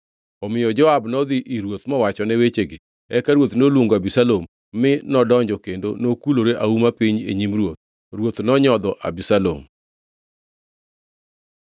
Omiyo Joab nodhi ir ruoth mowachone wechegi. Eka ruoth noluongo Abisalom, mi nodonjo kendo nokulore auma piny e nyim ruoth. Ruoth nonyodho Abisalom.